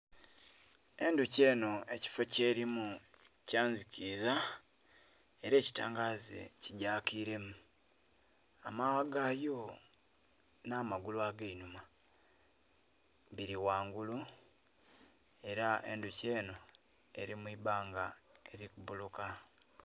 Endhoki enho ekifo kyelimu kya nzikiza, era ekitangaze kigyakilemu. Amaghagha gayo nh'amagulu ag'einhuma biri ghangulu, era endhoki enho eli mu ibanga eli kubuluka.